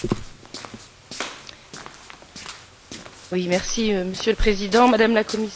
Monsieur le Président, Madame la Commissaire, nous y voilà, plus de deux ans de travaux arrivent à leur terme.